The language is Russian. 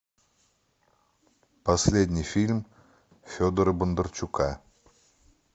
последний фильм федора бондарчука